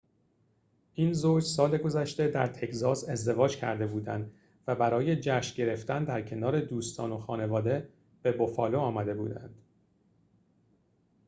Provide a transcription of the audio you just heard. این زوج سال گذشته در تگزاس ازدواج کرده بودند و برای جشن گرفتن در کنار دوستان و خانواده به بوفالو آمده بودند